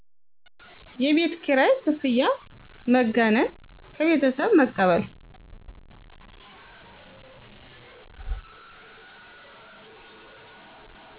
የቤት ኪራይ ክፍያ መጋነን ከቤተሠብ በመቀበል